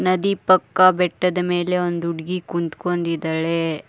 ನದಿ ಪಕ್ಕ ಬೆಟ್ಟದ ಮೇಲೆ ಒಂದ ಹುಡಗಿ ಕುಂತಕೊಂಡಿದಾಳೆ.